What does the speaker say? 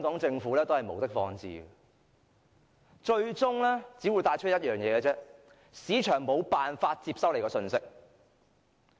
政府無的放矢，最終只有一個結果，就是市場無法接收到其信息。